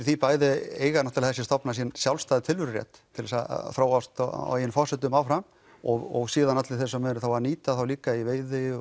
því bæði eiga þessi stofnar sinn sjálfstæða tilverurétt til þess að þróast á eigin forsendum áfram og síðan allir þeir sem eru þá að nýta þá líka í veiði